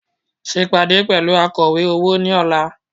Ṣe ìpàdé pẹ̀lú akọ̀wé owó ní ọ̀la